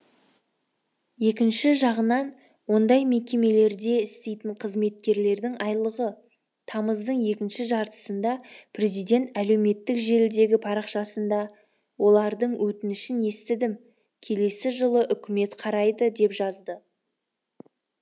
екінші жағынан ондай мекемелерде істейтін қызметкерлердің айлығы тамыздың екінші жартысында президент әлеуметтік желідегі парақшасында олардың өтінішін естідім келесі жылы үкімет қарайды деп жазды